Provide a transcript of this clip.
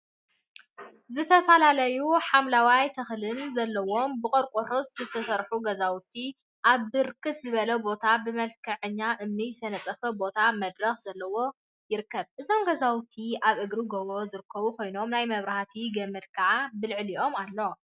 ዝተፈላለዩ ሓምለዎት ተክሊታት ዘለውዎም ብቆርቆሮ ዝተሰርሑ ገዛውቲ አብ ብርክ ዝበለ ቦታ ብመልክዐኛ እምኒ ዝተነፀፈ ቦታን መድረካት ዘለዎ ይርከቡ። እዞም ገዛውቲ አብ እግሪ ጎቦ ዝርከቡ ኮይኖም ናይ መብርህቲ ገመድ ከዓ ብልዕሊኦም አሎ።